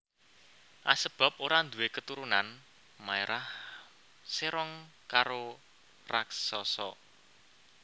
Asebab ora ndhuwe keturunan maerah serong karo raksasa